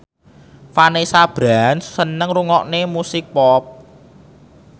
Vanessa Branch seneng ngrungokne musik pop